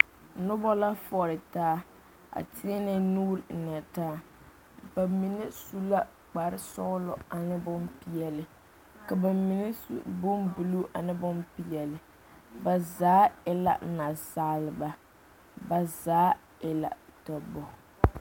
Noba la foɔle taa a teɛnɛ nuuri ennɛ taa bamine su la kpare sɔɔlɔ ane bompeɛle ka ba mine su bombuluu ane bompeɛle ba zaa e la nasaaleba ba zaa e la dɔbɔ.